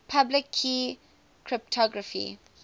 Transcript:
public key cryptography